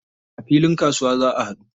A filin kasuwa za a haɗu.